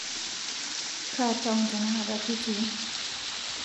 kaa taon tenakata kitii